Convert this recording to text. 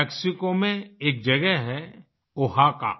Mexico में एक जगह है ओहाकाOaxaca